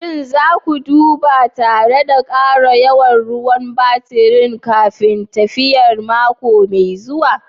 Shin za ku duba tare da ƙara yawan ruwan baturi kafin tafiyar mako mai zuwa?